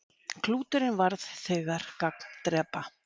Klúturinn varð þegar gagndrepa.